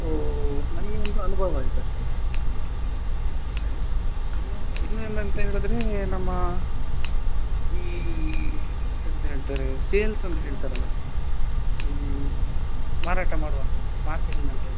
ಒಂದು ನನಗೆ ಒಂದು ಅನುಭವ ಆಯ್ತು ಅಷ್ಟೇ ಹಾಗೆ ಇನ್ನ ಏನ್ ಅಂತ ಹೇಳಿದ್ರೆ ನಮ್ಮ ಈ ಎಂತ ಹೇಳ್ತಾರೆ ಈ sales ಅಂತ ಹೇಳ್ತಾರೆ ಅಲ್ಲ ಈ ಮಾರಾಟ ಮಾಡುವಂತದ್ದು marketing ಅಂತ ಹೇಳ್ತಾರೆ